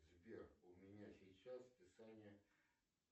сбер у меня сейчас списание